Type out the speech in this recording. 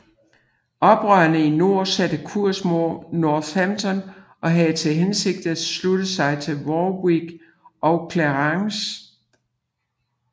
Oprørerne i nord satte kurs mod Northampton og havde til hensigt at slutte sig til Warwick og Clarence